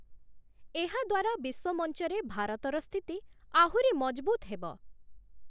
ଏହାଦ୍ୱାରା ବିଶ୍ୱମଞ୍ଚରେ ଭାରତର ସ୍ଥିତି ଆହୁରି ମଜଭୁତ ହେବ ।